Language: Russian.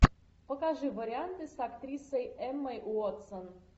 покажи варианты с актрисой эммой уотсон